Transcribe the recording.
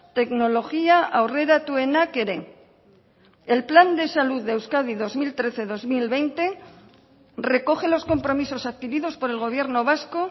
teknologia aurreratuenak ere el plan de salud de euskadi dos mil trece dos mil veinte recoge los compromisos adquiridos por el gobierno vasco